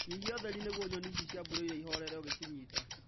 Nyihia ũtheri nĩguo nyoni ici cĩa broila ihorere ũgĩshinyita